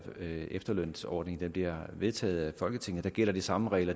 efterlønsordning bliver vedtaget af folketinget vil gælde de samme regler